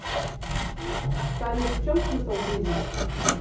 салют в чем смысл жизни